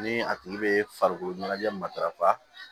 Ni a tigi bɛ farikolo ɲɛnajɛ matarafa